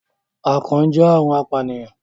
akàn jẹ àrùn apànìyàn